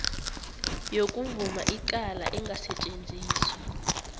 yokuvuma icala engasetjenziswa